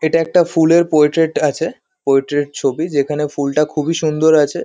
এটা একটা ফুলের পোয়েট্র্রেট আছে। পোয়েট্রেট ছবি যেখানে ফুলটা খুব-ই সুন্দর আছে।